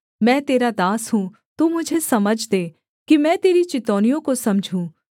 मैं तेरा दास हूँ तू मुझे समझ दे कि मैं तेरी चितौनियों को समझूँ